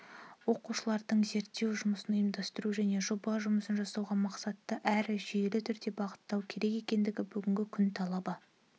оқушылардың зерттеу жұмысын ұйымдастыру және жоба жұмысын жасауға мақсатты әрі жүйелі түрде бағыттау керек екені бүгінгі күн талабы